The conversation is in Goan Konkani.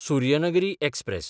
सुर्यनगरी एक्सप्रॅस